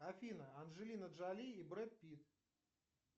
афина анжелина джоли и брэд питт